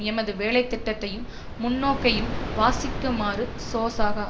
எமது வேலைத்திட்டத்தையும் முன்நோக்கையும் வாசிக்குமாறு சோசக